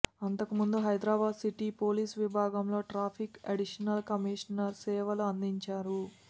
అంతకుముందు Hyderabad city police విభాగంలో traffic additional commissioner సేవలు అందించారు